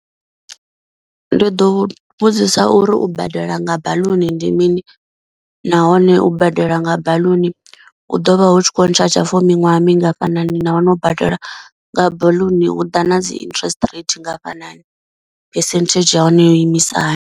Ndi ḓo vhudzisa uri u badela nga baḽuni ndi mini nahone u badela nga baḽuni hu ḓovha hu tshi khou ntsha tsha for miṅwaha mingafhani, nahone u badela nga baḽuni hu ḓa na dzi interest rate ngafhanani phesenthedzhi ya hone yo imisa hani.